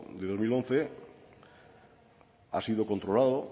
de dos mil once ha sido controlado